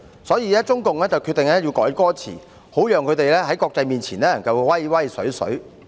所以，中共決定要修改歌詞，好讓他們在國際面前展威風。